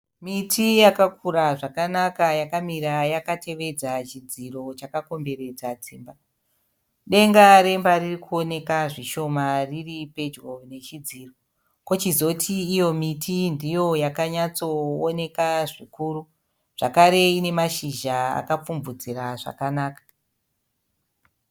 Miti yakakura zvakanaka yakamira yakatevedza chidziro chakakomberedza dzimba. Denga remba ririkuoneka zvishoma riripedyo nechidziro. Kochizoti iyo miti ndiyo yakanyatsooneka zvikuru, zvakare ine mashizha akapfumvudzira zvakanaka.